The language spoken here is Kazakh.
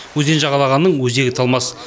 өзен жағалағанның өзегі талмас